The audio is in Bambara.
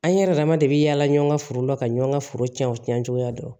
An yɛrɛ dama de bi yaala ɲɔgɔn ka foro la ka ɲɔgɔn ka foro cɛn o cɛn cogoya dɔn